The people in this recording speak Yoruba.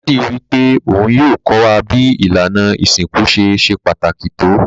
Daddy wípé oun yio ko wa bi ìlànà ìsinkú ṣe se pàtàkì to